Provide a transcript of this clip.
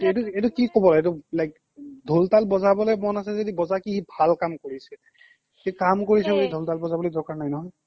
এইটো কি ক'ব like ঢোল তাল বজাবলৈ মন আছে যদি বজা সি কি ভাল কাম কৰিছে সি কাম কৰিছে তাকে বুলি ঢোল তাল বজাবলৈ দৰকাৰ নাই নহয়